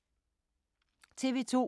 TV 2